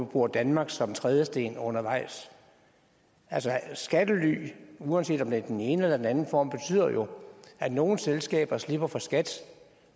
bruger danmark som trædesten undervejs altså skattely uanset om det er i den ene eller den anden form betyder jo at nogle selskaber slipper for skat